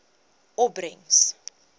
opbrengs